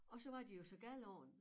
Og så var de jo så gale på den